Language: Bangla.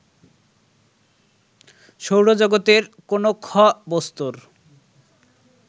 সৌরজগতের কোন খ বস্তুর